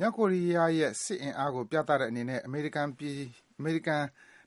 မြောက်ကိုရီးယားရဲ့ စစ်အင်အားကို ပြသတဲ့အနေနဲ့ အမေရိကန်